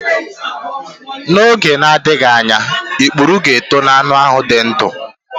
N'oge na-adịghị anya ikpuru ga-eto n'anụ ahụ dị ndụ.